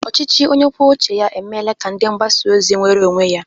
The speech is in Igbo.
Ọchịchị onye kwuo uche ya emeela ka ndi mgbasa ozi nweere onwe ya.